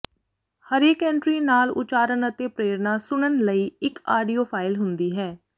ਹਰੇਕ ਐਂਟਰੀ ਨਾਲ ਉਚਾਰਨ ਅਤੇ ਪ੍ਰੇਰਨਾ ਸੁਣਨ ਲਈ ਇੱਕ ਆਡੀਓ ਫਾਈਲ ਹੁੰਦੀ ਹੈ